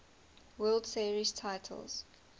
world series titles